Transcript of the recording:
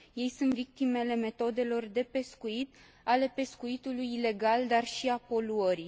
Ei sunt victimele metodelor de pescuit, ale pescuitului ilegal, dar și a poluării.